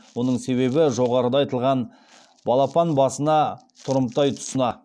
оның себебі жоғарыда айтылған балапан басына тұрымтай тұсына